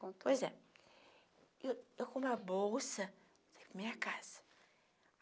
contou. Pois é. Eu com com uma bolsa, saí para minha casa.